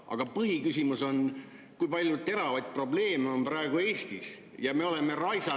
Aga põhiküsimus on see, et Eestis on praegu palju teravaid probleeme, aga meie oleme raisanud …